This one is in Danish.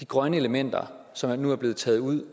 grønne elementer som nu er blevet taget ud